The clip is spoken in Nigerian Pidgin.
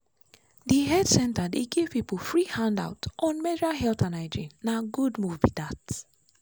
the health center dey give people free handout on menstrual health and hygiene—na good move be that.